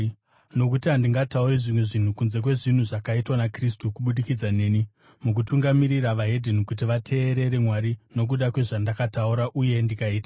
Nokuti handingatauri zvimwe zvinhu kunze kwezvinhu zvakaitwa naKristu kubudikidza neni mukutungamirira veDzimwe Ndudzi kuti vateerere Mwari nokuda kwezvandakataura uye ndikaita,